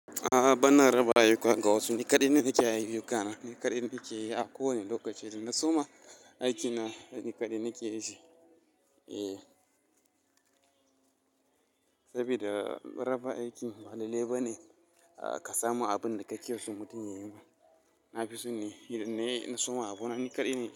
A'a bana raba ayyuka ga wasu, ni kaɗai nakeyin ayyukan, ni kaɗai nake yi a kowane lokaci da na suma aiki na ni kaɗai nake yin shi. Eh, saboda raba aiki ba lale ba ne ka samu abun da kake so mutum ya yi ma. Nafison ne, idan na yi in soma abu na ni kaɗai.